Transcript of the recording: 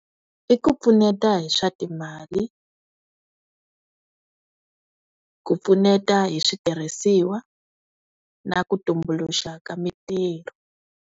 I ku pfuneta hi swa timali ku pfuneta hi switirhisiwa na ku tumbuluxa ka mitirho.